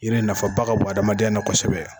Yiri nafa ba ka bon adamadenyala kosɛbɛ.